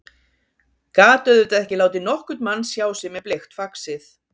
Gat auðvitað ekki látið nokkurn mann sjá sig með bleikt faxið.